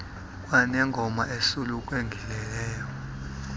kaap neyingoma esulungekileyo